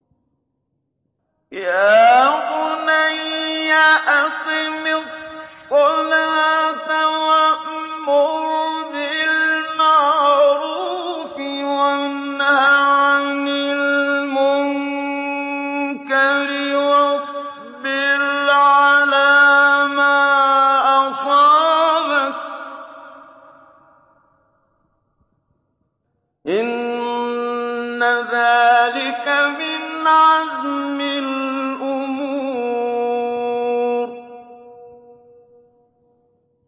يَا بُنَيَّ أَقِمِ الصَّلَاةَ وَأْمُرْ بِالْمَعْرُوفِ وَانْهَ عَنِ الْمُنكَرِ وَاصْبِرْ عَلَىٰ مَا أَصَابَكَ ۖ إِنَّ ذَٰلِكَ مِنْ عَزْمِ الْأُمُورِ